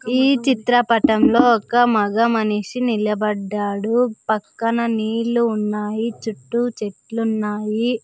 ఈ చిత్రపటంలో ఒక మగ మనిషి నిలబడ్డాడు పక్కన నీళ్లు ఉన్నాయి చుట్టూ చెట్లు ఉన్నాయి.